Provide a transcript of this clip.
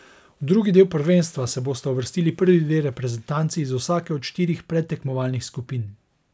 V drugi del prvenstva se bosta uvrstili prvi dve reprezentanci iz vsake od štirih predtekmovalnih skupin.